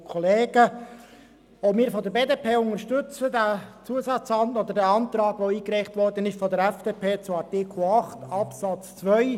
Die BDP unterstützt den Antrag der FDP zu Artikel 8 Absatz 2.